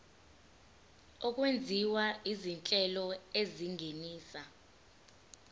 okwenziwa izinhlelo ezingenisa